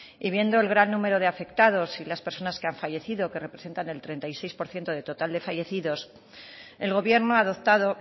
y viendo el gran número de afectados y las personas que han fallecido que representan el treinta y seis por ciento del total de fallecidos el gobierno ha adoptado